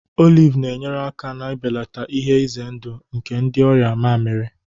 Olive na-enyere aka n'ibelata ihe ize ndụ nke ndị ọrịa mamịrị